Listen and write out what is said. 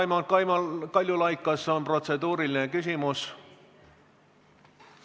Jah, palun, Raimond Kaljulaid, kas on protseduuriline küsimus?